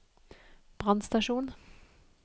brannstasjon